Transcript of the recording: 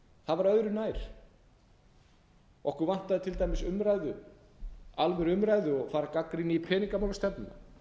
að hafa áhyggjur af því það var öðru nær okkur vantaði til dæmis umræðu alvöru umræðu og þar gagnrýni ég peningamálastefnuna